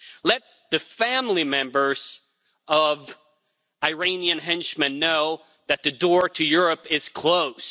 Let the family members of Iranian henchmen know that the door to Europe is closed.